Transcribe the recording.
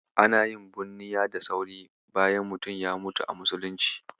Ana yin bunniya da sauri bayan mutum ya mutu a Muslunci.